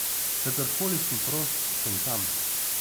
Kadar koli sem prost, sem tam.